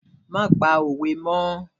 Má pa òwe mọ́!